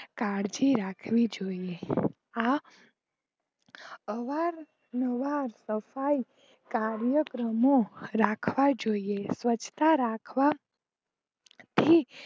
કાળજી રાખવી જોઈએ આ અવાર નવાર સફાઈ કાયૅક્રમો રાખવા જોઈએ સવ્ચ્છતા રાખવા થી